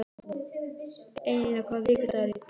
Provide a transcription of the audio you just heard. Einína, hvaða vikudagur er í dag?